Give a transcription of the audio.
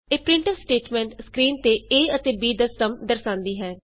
ਇਹ printf statement screen ਤੇ a ਅਤੇ b ਦਾ ਸਮ ਦਰਸਾਂਦੀ ਹੈ